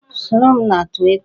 Soro m na Twita